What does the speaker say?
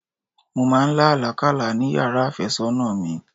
Mọ máa lá àlá kálá ni yàrá àfẹ́sọ́nà mi.